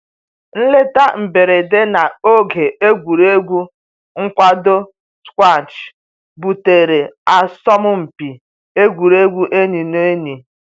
Nleta mberede na oge egwuregwu nkwado squash butere asọmpi egwuregwu enyi na enyi